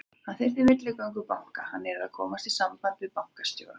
Hann þyrfti milligöngu banka, hann yrði að komast í samband við bankastjóra.